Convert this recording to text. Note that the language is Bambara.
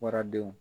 Waradenw